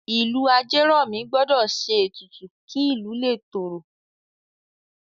Ìlú Ajeromi gbọ́dọ̀ ṣe ètùtù kí ìlú lè tòrò